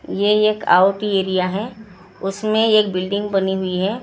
ये एक आउटएरिया है उसमें एक बिल्डिंग बनी हुई है । उसमें --